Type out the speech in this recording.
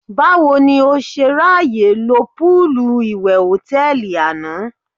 Báwo ni o ṣe ráyè lo póòlù ìwẹ̀ hòtẹ́ẹ̀lì àná?